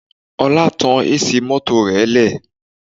Ọlá tan AC mọ́tò rẹ lẹ̀